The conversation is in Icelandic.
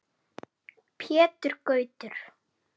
Pétur Gautur.